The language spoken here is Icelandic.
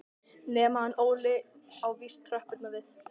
Nema hann Óli á víst tröppurnar við